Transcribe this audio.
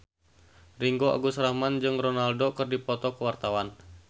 Ringgo Agus Rahman jeung Ronaldo keur dipoto ku wartawan